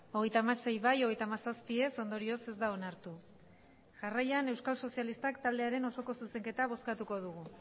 hogeita hamasei bai hogeita hamazazpi ez ondorioz ez da onartu jarraian euskal sozialistak taldearen osoko zuzenketa bozkatuko dugu